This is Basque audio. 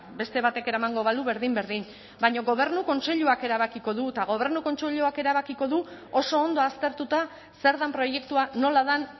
beste batek eramango balu berdin berdin baina gobernu kontseiluak erabakiko du eta gobernu kontseiluak erabakiko du oso ondo aztertuta zer den proiektua nola den